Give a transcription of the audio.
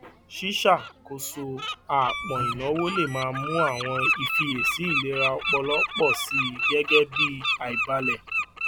ṣíṣàkóso àápọn ìnáwó lè máa mú àwọn ìfiyesi ìlera ọpọlọ pọ sí i gẹgẹ bí àìbalẹ